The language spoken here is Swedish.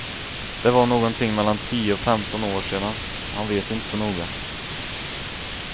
Det var någonting mellan tio och femton år sedan, han vet inte så noga.